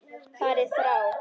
Farið frá!